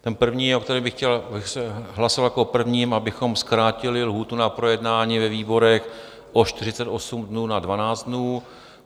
Ten první, o kterém bych chtěl hlasovat jako o prvním, abychom zkrátili lhůtu na projednání ve výborech o 48 dnů na 12 dnů.